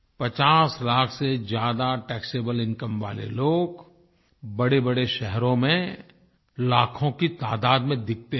पचास लाख से ज्यादा टैक्सेबल इनकम वाले लोग बड़ेबड़े शहरो में लाखों की तादाद मे दिखते हैं